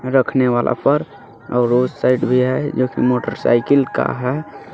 रखने वाला पर रोज साइड भी है लेकिन मोटरसाइकिल का है.